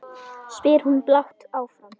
spyr hún blátt áfram.